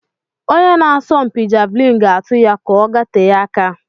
Onye na-asọmpi Javelin ga-atu ya kà ọ gatee aka.